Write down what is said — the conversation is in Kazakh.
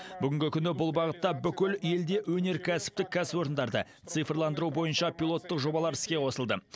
бүгінгі күні бұл бағытта бүкіл елде өнеркәсіптік кәсіпорындарды цифрландыру бойынша пилоттық жобалар іске қосылды